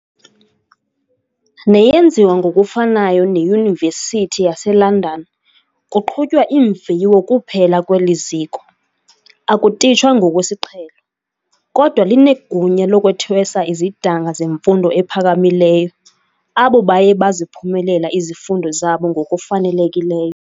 Neyenziwa ngokufanayo neYunivesithi yaseLondon, kuqhutywa imviwo kuphela kweli ziko, akutitshwa ngokwesiqhelo, kodwa linegunya lokuthwesa izidanga zemfundo ephakamileyo, abo baye baziphumelela izifundo zabo ngokufanelekileyo.